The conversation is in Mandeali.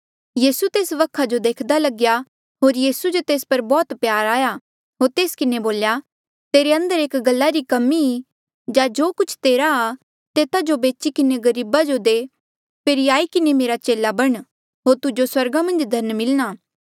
यीसू तेस वखा जो देख्दा लगया होर यीसू जो तेस पर बौह्त प्यार आया होर तेस किन्हें बोल्या तेरे अंदर एक गल्ला री कमी ई जा जो कुछ तेरा आ तेता जो बेची किन्हें गरीबा जो दे फेरी आई किन्हें मेरा चेला बण होर तुजो स्वर्गा मन्झ धन मिलणा